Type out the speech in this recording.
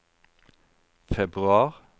februar